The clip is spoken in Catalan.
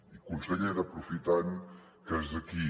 i consellera aprofitant que és aquí